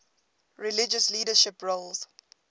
religious leadership roles